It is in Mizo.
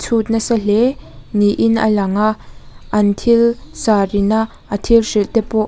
chhut nasa hle niin a lang a an thil sir ina a thil hrilh te pawh --